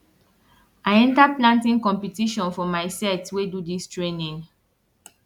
i enter planting competition for my set wey do dis training